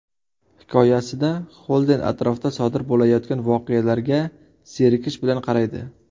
Hikoyasida Xolden atrofda sodir bo‘layotgan voqealarga zerikish bilan qaraydi.